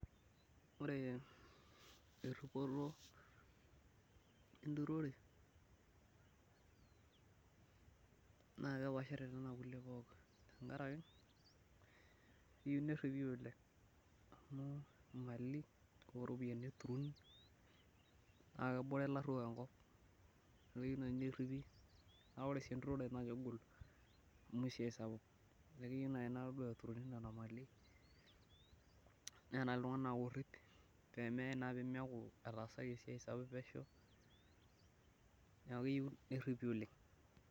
ore eripoto enturore naa keepashare nkulie pookin, keyoeu neripi oleng amu imali oo ropiyiani eturori naa lenore laruok enkop. amu keyieu naji naa keturorri, naa ore sii enturore naa kegol. amu esiai sapuk. neeku keei naaji na ore eturori nena mali, neeta naaji iltunganak oorip, pee meyae naa pee meeku etaasaki esiiai sapuk pesho, neku keyieu neripi oleng.